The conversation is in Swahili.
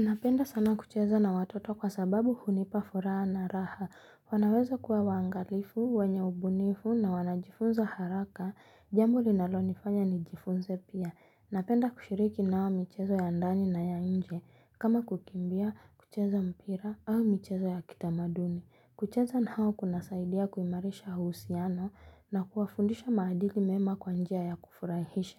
Napenda sana kucheza na watoto kwa sababu hunipa furaha na raha. Wanaweza kuwa wangalifu, wenye ubunifu na wanajifunza haraka Jambo linalonifanya nijifunze pia. Napenda kushiriki nao michezo ya ndani na ya nje. Kama kukimbia, kucheza mpira au michezo ya kitamaduni. Kucheza na hao kunasaidia kuimarisha uhusiano na kuwafundisha maadili mema kwa njia ya kufurahisha.